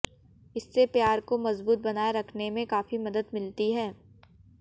इससे प्यार को मजबूत बनाए रखने में काफी मदद मिलती है